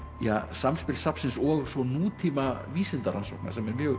samspil safnsins og nútíma vísindarannsókna sem er mjög